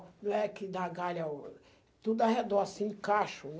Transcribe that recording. Não é que dá galha o... Tudo ao redor, assim, em cacho